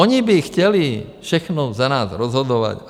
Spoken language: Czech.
Oni by chtěli všechno za nás rozhodovat.